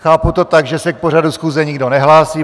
Chápu to tak, že se k pořadu schůze nikdo nehlásí.